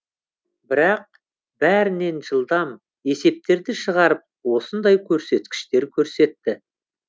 бірақ бәрінен жылдам есептерді шығарып осындай көрсеткіштер көрсетті